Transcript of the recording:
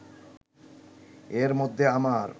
এর মধ্যে আমার